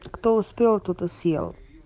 кто успел тот и съел